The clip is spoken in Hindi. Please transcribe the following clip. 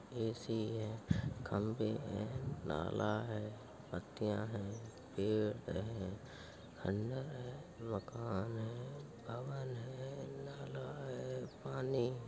ए सी है। खम्भे हैं। नाला है। पत्तिंया हैं। पेड़ हैं। खंडहर है। मकान है। भवन है। नाला है। पानी है।